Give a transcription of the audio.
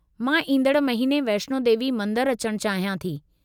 मां ईंदड़ महीने वैष्णो देवी मंदरु अचणु चाहियां थी।